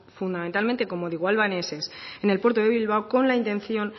fundamentalmente como digo albaneses en el puerto de bilbao con la intención